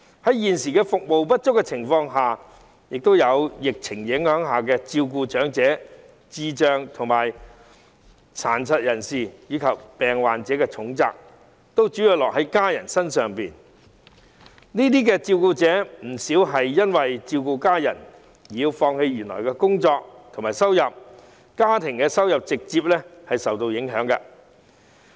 在現時服務不足及疫情影響下，照顧長者、智障人士、殘疾人士及病患者的重責，主要落在家人身上，而不少照顧者更因為照顧家人而要放棄原來的工作，令家庭收入直接受到影響。